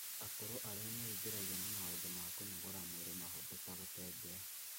Akũrũ arĩa meingĩragia na maũndũ ma kũnogora mwĩrĩ mahũthũ ta gũtembea